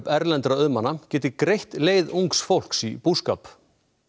erlendra auðmanna geti greitt leið ungs fólks í búskap